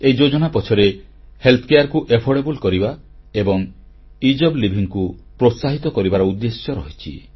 ଏହି ଯୋଜନା ପଛରେ ସ୍ୱାସ୍ଥ୍ୟ ସେବାକୁ ସହଜଲବ୍ଧ ଓ ସ୍ୱଳ୍ପବ୍ୟୟୀ କରିବା ଏବଂ ସହଜ ଜୀବନନିର୍ବାହକୁ ପ୍ରୋତ୍ସାହିତ କରିବାର ଉଦ୍ଦେଶ୍ୟ ରହିଛି